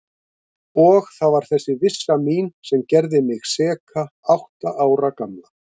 Og það var þessi vissa mín sem gerði mig seka átta ára gamla.